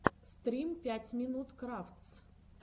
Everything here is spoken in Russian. стрим пять минут крафтс